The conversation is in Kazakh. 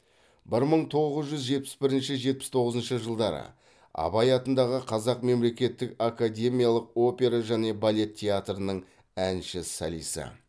бір мың тоғыз жүз жетпіс бірінші жетпіс тоғызыншы жылдары абай атындағы қазақ мемлекеттік академиялық опера және балет театрының әнші солисі